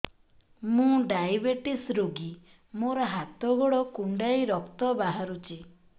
ମୁ ଡାଏବେଟିସ ରୋଗୀ ମୋର ହାତ ଗୋଡ଼ କୁଣ୍ଡାଇ ରକ୍ତ ବାହାରୁଚି